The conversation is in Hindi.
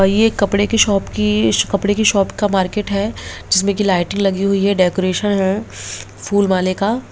और ये कपड़े के शॉप की कपड़े के शॉप का मार्केट है जिसमें की लाइटें लगी हुई है डेकोरेशन है फूल-माले का।